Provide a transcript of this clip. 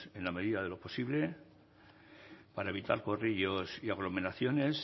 en la medida de lo posible para evitar corrillos y aglomeraciones